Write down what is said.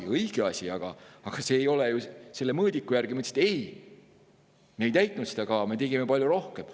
See oli õige asi, aga see ei ole ju tehtud mingi mõõdiku järgi, sest me ei täitnud seda kava, me tegime palju rohkem.